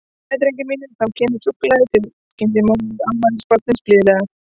Jæja, drengir mínir, þá kemur súkkulaðið, til kynnti móðir afmælisbarnsins blíðlega.